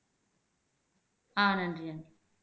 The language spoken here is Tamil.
ஆஹ் நன்றி நன்றி